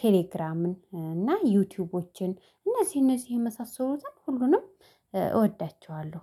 ቴሌግራምን እና ዩቲዩቦችን እነዚህ እነዚህ የመሳሰሉትም ሁሉንም እወዳቸዋለሁ